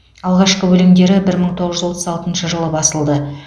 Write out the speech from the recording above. алғашқы өлеңдері бір мың тоғыз жүз отыз алтыншы жылы басылды